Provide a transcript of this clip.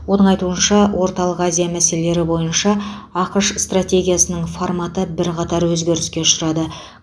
оның айтуынша орталық азия мәселелері бойынша ақш стратегиясының форматы бірқатар өзгеріске шырады